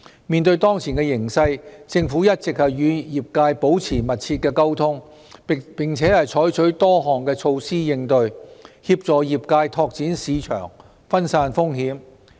面對當前形勢，政府一直與業界保持密切溝通，並且採取多項措施應對，協助業界拓展市場和分散風險。